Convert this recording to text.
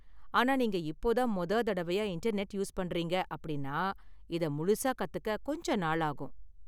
ஆனா, நீங்க இப்போ தான் மொத தடவையா இன்டர்நெட் யூஸ் பண்றீங்க அப்படின்னா, இதை முழுசா கத்துக்க கொஞ்ச நாளாகும்.